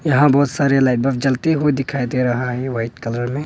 यहां बहुत सारे लाईट बल्ब जलती हुई दिखाई दे रहा है वाइट कलर में।